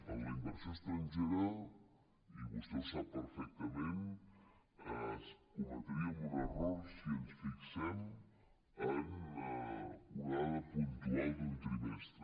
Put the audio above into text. en la inversió estrangera i vostè ho sap perfectament cometríem un error si ens fixem en una onada puntual d’un trimestre